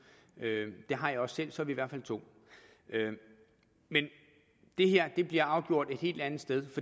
det har jeg også selv og så er vi i hvert fald to men det her bliver afgjort et helt andet sted